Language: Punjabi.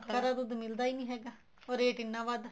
ਖਰਾ ਦੁੱਧ ਮਿਲਦਾ ਹੀ ਨੀ ਹੈਗਾ or ਰੇਟ ਇੰਨਾ ਵੱਧ ਆ